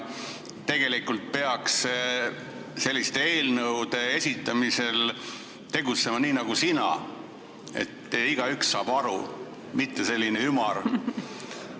Tegelikult peaks selliste eelnõude esitamisel tegutsema nii nagu sina, et igaüks saab aru, ei pea olema selline ümar.